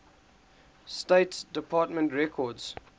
state department records